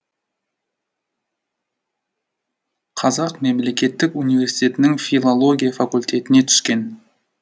қазақ мемлекеттік университетінің филология факультетіне түскен